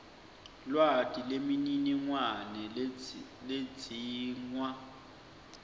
lwati nemininingwane ledzingwa